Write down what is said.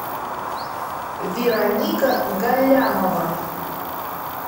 вероника галлямова